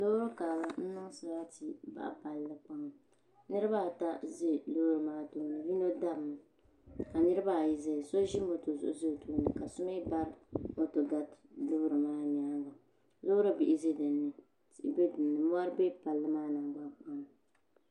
Loori karili n niŋ sarati baɣa palli niraba ata ʒɛ loori maa tooni yino dabimi ka niraba ayi ʒɛya so ʒi moto zuɣu ʒɛ o tooni ka so mii ba moto gari loori maa nyaanga loori bihi ʒɛ dinni mɔri bɛ palli maa nɔli